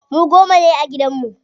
Mu goma ne a gidan mu.